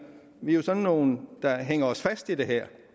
vi er sådan nogle der hænger sig fast i det her